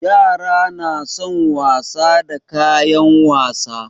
Yara na son wasa da kayan wasa.